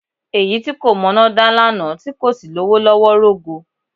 Èyí tí kò mọná dá lánàá tí kò sì lówó lọ́wọ́ rógo.